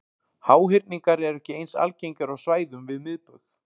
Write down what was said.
Háhyrningar eru ekki eins algengir á svæðum við miðbaug.